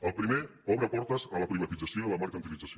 el primer obre portes a la privatització i a la mercantilització